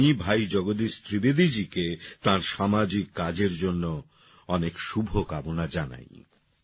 আমি ভাই জগদীশ ত্রিবেদীজীকে তাঁর সামাজিক কাজের জন্য অনেক শুভকামনা জানাই